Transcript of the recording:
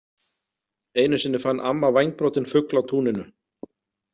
Einu sinni fann amma vængbrotinn fugl á túninu.